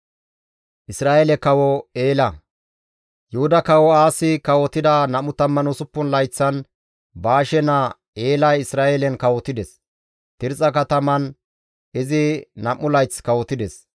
Yuhuda Kawo Aasi kawotida 26 layththan Baashe naa Eelay Isra7eelen kawotides. Tirxxa kataman izi nam7u layth kawotides.